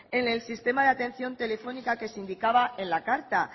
en el sistema de atención telefónica que se indicaba en la carta